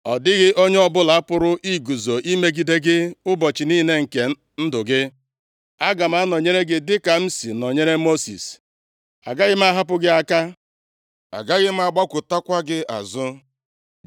Ọ dịghị onye ọbụla pụrụ iguzo imegide gị ụbọchị niile nke ndụ gị. + 1:5 \+xt Dit 7:24\+xt* Aga m anọnyere gị dịka m si nọnyere Mosis. + 1:5 \+xt Ọpụ 3:12; Dit 31:8,23\+xt* Agaghị m ahapụ gị aka. Agaghị m agbakụtakwa gị azụ. + 1:5 \+xt Dit 31:6,8; Hib 13:5\+xt*